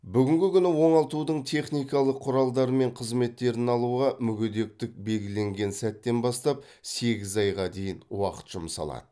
бүгінгі күні оңалтудың техникалық құралдары мен қызметтерін алуға мүгедектік белгіленген сәттен бастап сегіз айға дейін уақыт жұмсалады